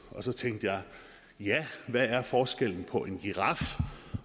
og så tænkte jeg hvad er forskellen på en giraf